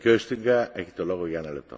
Herr Präsident, Herr Kommissar!